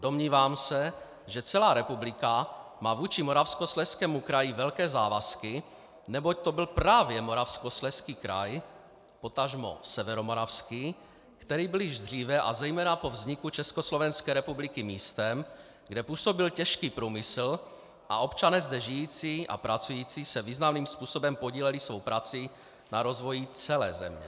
Domnívám se, že celá republika má vůči Moravskoslezskému kraji velké závazky, neboť to byl právě Moravskoslezský kraj, potažmo Severomoravský, který byl již dříve, a zejména po vzniku Československé republiky, místem, kde působil těžký průmysl a občané zde žijící a pracující se významným způsobem podíleli svou prací na rozvoji celé země.